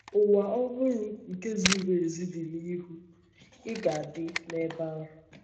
Ụwa ọhụrụ nke ziri ezi dị n’ihu — ị ga-adị nebe ahụ?